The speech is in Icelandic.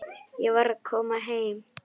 Ég var að koma heim.